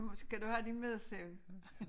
Skal du have din middagssøvn?